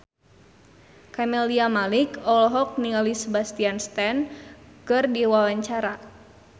Camelia Malik olohok ningali Sebastian Stan keur diwawancara